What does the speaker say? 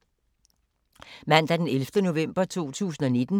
Mandag d. 11. november 2019